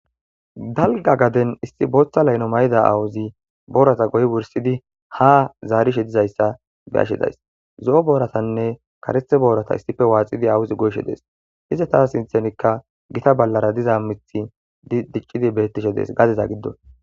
Dalga gaden issi booththa layno may'ida awuzi boorata goy wursidi ha zaarishe dizayssa be ashedays zo'o booratanne karethe boorata issife waaxidi awuzi goyshe dees hize taa sinthenikka gita ballara diza mithi diccidi bettishe dees gadeza giddo.